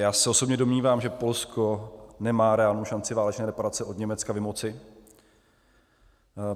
Já se osobně domnívám, že Polsko nemá reálnou šanci válečné reparace od Německa vymoci.